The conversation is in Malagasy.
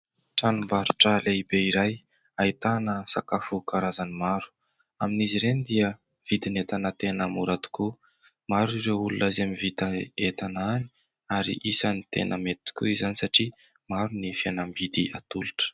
Tranombarotra lehibe iray, ahitana sakafo karazany maro ; amin'izy ireny dia vidin'entana tena mora tokoa. Maro ireo olona izay mividy entana any, ary isany tena mety tokoa izany satria maro ny fihenam-bidy atolotra.